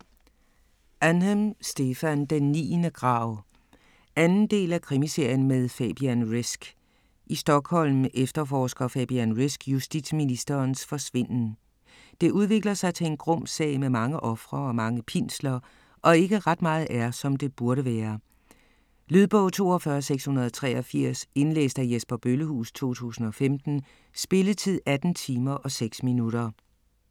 Ahnhem, Stefan: Den niende grav 2. del af Krimiserien med Fabian Risk. I Stockholm efterforsker Fabian Risk justitsministerens forsvinden. Det udvikler sig til en grum sag med mange ofre og mange pinsler, og ikke ret meget er, som det burde være. Lydbog 42683 Indlæst af Jesper Bøllehuus, 2015. Spilletid: 18 timer, 6 minutter.